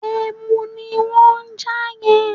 Ẹ̀mù ní wọ́n ń jà yẹn